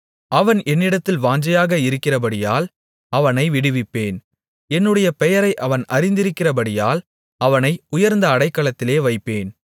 அவன் என்னிடத்தில் வாஞ்சையாக இருக்கிறபடியால் அவனை விடுவிப்பேன் என்னுடைய பெயரை அவன் அறிந்திருக்கிறபடியால் அவனை உயர்ந்த அடைக்கலத்திலே வைப்பேன்